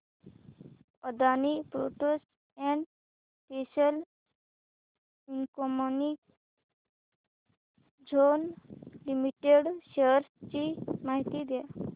Adani ports and special economic zone limited shares ची माहिती द्या